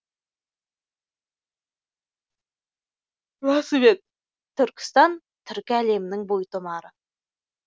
расымен түркістан түркі әлемінің бойтұмары